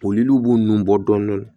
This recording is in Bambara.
Boliliw b'u nun bɔ dɔɔnɔni